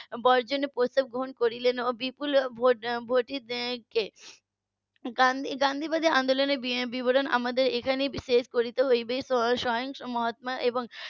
বর্জনের প্রস্তাব গ্রহণ করলেন এবং . গান্ধী~ গান্ধীবাদী আন্দোলনের বিবরণ আমাদের এখানেই শেষ করতে হবে স্বয়ং মহাত্মা এবং